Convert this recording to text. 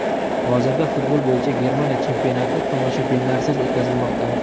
Hozirda futbol bo‘yicha Germaniya chempionati tomoshabinlarsiz o‘tkazilmoqda.